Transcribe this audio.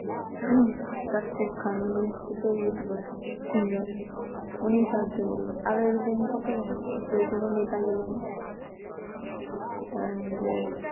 Tasrifkhan উনি ও তো Youtuber Singer উনি সাহায্য করলো আরো এরকম কতজন আছে কই কোনো নেতা গেলো না ধরেন যে